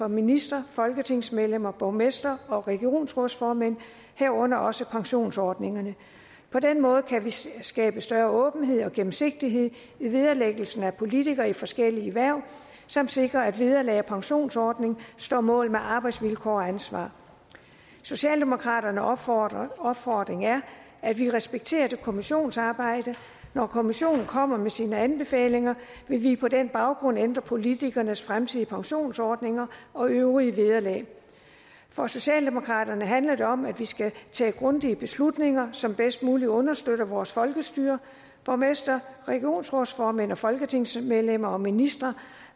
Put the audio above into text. ministre folketingsmedlemmer borgmestre og regionsrådsformænd herunder også pensionsordningerne på den måde kan vi skabe større åbenhed og gennemsigtighed i vederlæggelsen af politikere i forskellige hverv samt sikre at vederlag og pensionsordning står mål med arbejdsvilkår og ansvar socialdemokraternes opfordring opfordring er at vi respekterer det kommissionsarbejde når kommissionen kommer med sine anbefalinger vil vi på den baggrund ændre politikernes fremtidige pensionsordninger og øvrige vederlag for socialdemokraterne handler det om at vi skal tage grundige beslutninger som bedst muligt understøtter vores folkestyre borgmestre regionsrådsformænd og folketingsmedlemmer og ministre